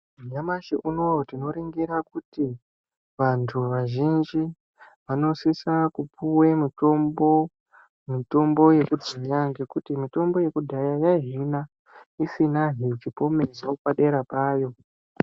Nyamashi unowu tinoningira kuti, vantu vazhinji, vanosisa kupuwa mitombo yekuhina ngekuti mitombo yekudhaya yaihina isinazve chipomerwa padera payo.